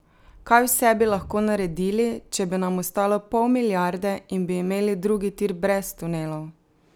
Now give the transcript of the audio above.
Kaj vse bi lahko naredili, če bi nam ostalo pol milijarde in bi imeli drugi tir brez tunelov?